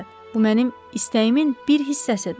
Bu mənim istəyimin bir hissəsidir.